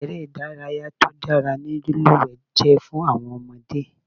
Eré ìdárayá tí ó dára ni lílúwẹ̀ẹ́ jẹ́ fún àwọn ọmọdé.